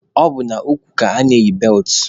Ọ bụ n'ukwu ka ana-eyi beltụ